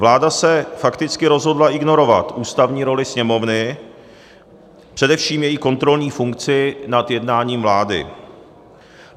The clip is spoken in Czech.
Vláda se fakticky rozhodla ignorovat ústavní roli Sněmovny, především její kontrolní funkci nad jednáním vlády.